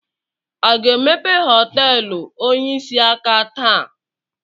Aga emepe họteelụ onyeisi aka taa?